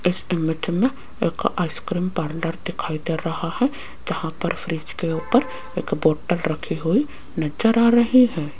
इस इमेज में एक आइसक्रीम पार्लर दिखाई दे रहा है जहां पर फ्रिज के ऊपर एक बोटल रखी हुई नजर आ रही है।